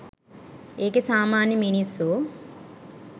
ඒකේ සාමාන්‍ය මිනිස්සු